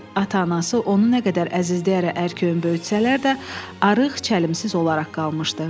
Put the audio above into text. Ata-anası onu nə qədər əzizləyərək ərköyün böyütsələr də, arıq, çəlimsiz olaraq qalmışdı.